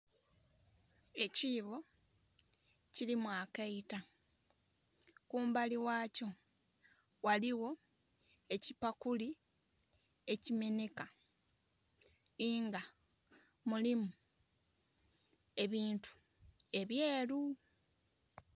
Ekibbo ekilimu akaita, kumbali ghakyo ghaligho ekipakuli eki menheka nga mulimu ebintu ebyeru.